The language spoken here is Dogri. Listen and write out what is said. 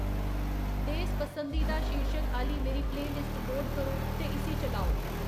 देस पसंदीदा शीर्शक आह्‌ली मेरी प्लेऽलिस्ट लोड करो ते इस्सी चलाओ